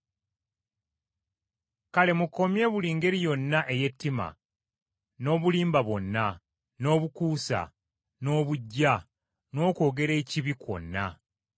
Kale mukomye buli ngeri yonna ey’ettima, n’obulimba bwonna, n’obukuusa, n’obuggya, n’okwogera ekibi kwonna.